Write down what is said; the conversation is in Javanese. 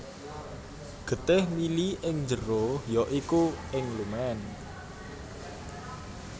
Getih mili ing njero ya iku ing lumen